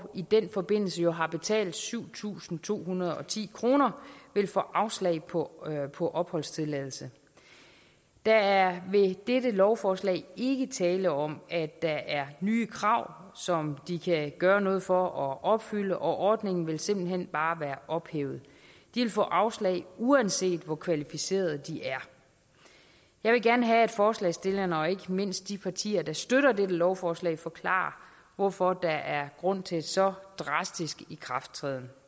i den forbindelse jo har betalt syv tusind to hundrede og ti kr vil få afslag på på opholdstilladelse der er ved dette lovforslag ikke tale om at der er nye krav som de kan gøre noget for at opfylde og ordningen vil simpelt hen bare være ophævet de vil få afslag uanset hvor kvalificeret de er jeg vil gerne have at forslagsstillerne og ikke mindst de partier der støtter dette lovforslag forklarer hvorfor der er grund til så drastisk ikrafttræden